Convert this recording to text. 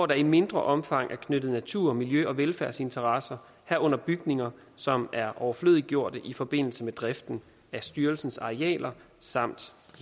der i mindre omfang er knyttet natur miljø og velfærdsinteresser herunder bygninger som er overflødiggjort i forbindelse med driften af styrelsens arealer samt